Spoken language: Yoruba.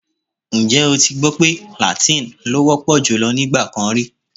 Ǹjẹ́ o ti gbọ́ pé làtín-ín ló wọ́ pọ̀ jùlọ nígbà kan rí?